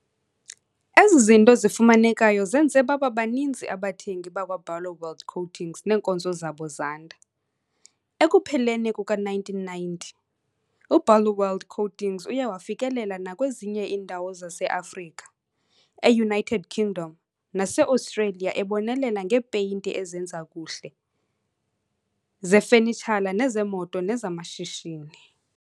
Ezi zinto zifumanekayo zenze baba baninzi abathengi bakwaBarloworld Coatings neenkonzo zabo zanda. Ekupheleni kuka-1990, uBarloworld Coatings uye wafikelela nakwezinye iindawo zase-Africa, e-United Kingdom nase-Australia ebonelela ngeepeyinti ezenza kuhle, zefenitshala nezeemoto nezamashishini.